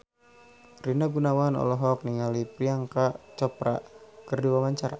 Rina Gunawan olohok ningali Priyanka Chopra keur diwawancara